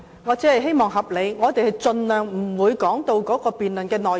我只希望議員發言合理，盡量不說到辯論的內容。